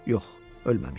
Yox, ölməmişdi.